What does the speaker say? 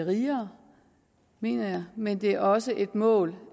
rigere mener jeg men det er også et mål